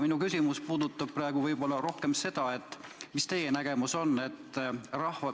Minu küsimus puudutab praegu rohkem seda, mis on teie nägemus.